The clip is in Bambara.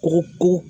U ko